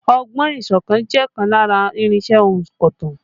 Ọgbọ́n ìsọ̀tàn jẹ́ ọ̀kan lára irinsẹ́ ònkọ̀tan